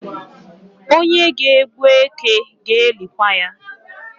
Onye ga-egbu eke ga-elikwa ya